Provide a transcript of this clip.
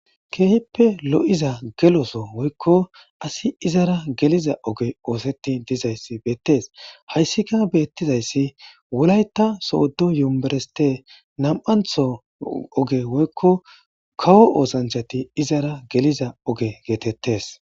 Keehippe lo7iza geloso woykko asi izara geliza oge ooseti dizayssi beettes hayssika beettizayssi wulayta sooddo yumereste nam7antho oge woykko kawo oosanchati izara geliza oge geetettes